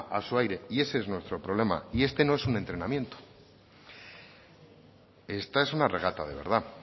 a su aire y ese es nuestro problema y este no es un entrenamiento esta es una regata de verdad